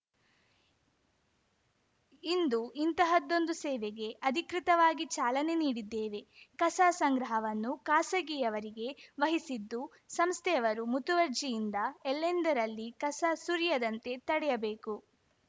ಇಂದು ಇಂತಹದ್ದೊಂದು ಸೇವೆಗೆ ಅಧಿಕೃತವಾಗಿ ಚಾಲನೆ ನೀಡಿದ್ದೇವೆ ಕಸ ಸಂಗ್ರಹವನ್ನು ಖಾಸಗಿಯವರಿಗೆ ವಹಿಸಿದ್ದು ಸಂಸ್ಥೆಯವರು ಮುತುವರ್ಜಿಯಿಂದ ಎಲ್ಲೆಂದರಲ್ಲಿ ಕಸ ಸುರಿಯದಂತೆ ತಡೆಯಬೇಕು